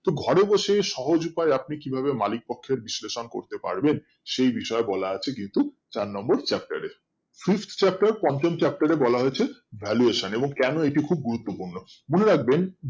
তো ঘরে বসে সহজ উপায় আপনি কিভাবে মালিক পক্ষের বিশ্লেষণ করতে পারবেন সেই বিষয়ে বলা আছে কিন্তু চার নম্বর chapter এ fifth chapter পঞ্চম chapter এ বলা আছে valuation এবং কেন এটি খুব গুরুত্ব পূর্ণ মনে রাখবেন